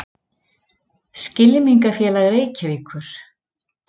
Skylmingafélag Reykjavíkur.